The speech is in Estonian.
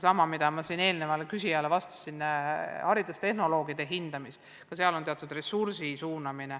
Nagu ma eelmisele küsijale juba vastasin, väärtustatakse haridustehnolooge, ka sinna on vaja teatud ressurssi suunata.